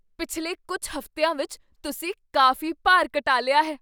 ਪਿਛਲੇ ਕੁੱਝ ਹਫ਼ਤਿਆਂ ਵਿੱਚ ਤੁਸੀਂ ਕਾਫ਼ੀ ਭਾਰ ਘਟਾ ਲਿਆ ਹੈ!